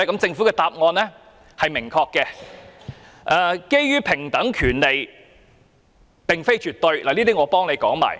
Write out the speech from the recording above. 政府的答案很明確，政府的看法是平等權利並非絕對。